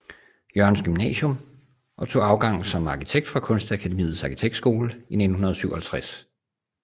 Jørgens Gymnasium og tog afgang som arkitekt fra Kunstakademiets Arkitektskole i 1957